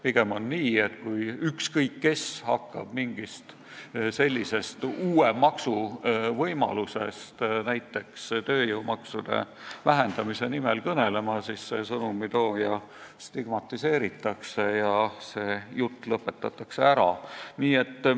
Pigem on nii, et kui ükskõik kes hakkab mingist uue maksu võimalusest näiteks tööjõumaksude vähendamise nimel kõnelema, siis sõnumitooja stigmatiseeritakse ja see jutt lõpetatakse ära.